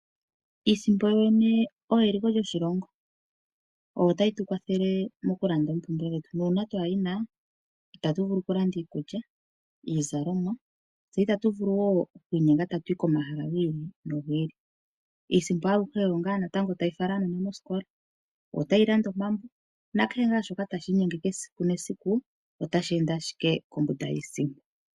Iisimpo yoyene oyo eliko lyoshilongo, oyo tayi tu kwathele mokulanda oompumbwe dhetu. Nuuna katu yina ita tu vulu okulanda iikulya, iizalomwa. Tse ita tu vulu wo oku inyenga tatu yi komahala gi ili nogi ili. Iisimpo aluhe natango oyo wo tayi fala aanona moosikola. Oyo tayi landa omambo, naashoka tashi inyenge esiku nesiku otashi ende ashike kombanda yiisimpo.